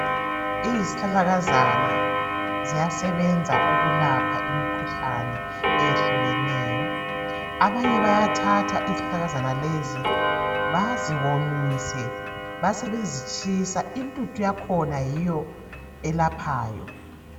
Izihlahlakazana ziyasebenza ukulapha imikhuhlane eyehlukeneyo. Abanye bayathatha izihlahlakazana lezi baziwomisa basebezitshisa. Intuthu yakhona yiyo elaphayo.